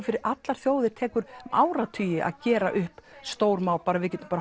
fyrir allar þjóðir tekur áratugi að gera upp stór mál við getum bara